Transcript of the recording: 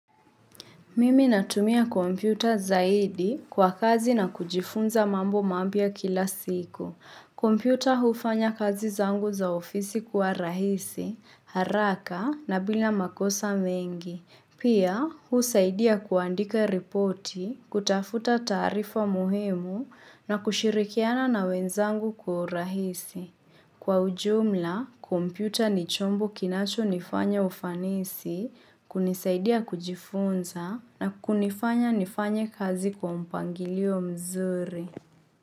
Mimi natumia kompyuta zaidi kwa kazi na kujifunza mambo mapya kila siku. Kompyuta hufanya kazi zangu za ofisi kuwa rahisi, haraka na bila makosa mengi. Pia, husaidia kuandika ripoti, kutafuta taarifa muhimu na kushirikiana na wenzangu kwa urahisi. Kwa ujumla, kompyuta ni chombo kinachonifanya ufanisi, kunisaidia kujifunza na kunifanya nifanye kazi kwa mpangilio mzuri.